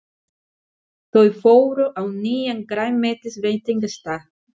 Þau fóru á nýjan grænmetisveitingastað.